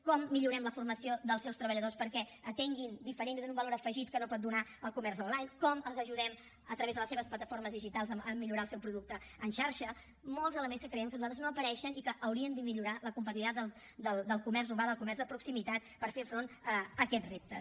com millorem la formació dels seus treballadors perquè atenguin diferent i donin un valor diferent que no pot donar el comerç online com els ajudem a través de les seves plataformes digitals a millorar el seu producte en xarxa molts elements que creiem nosaltres que no apareixen i que haurien de millorar la competitivitat del comerç urbà del comerç de proximitat per fer front a aquests reptes